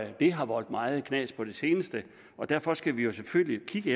de har voldt meget knas på det seneste og derfor skal vi selvfølgelig kigge